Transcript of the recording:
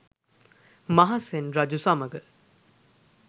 මහසෙන් රජු සමඟ